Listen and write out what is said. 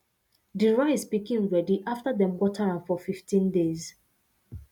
de rice pikin ready after dem water am for fifteen days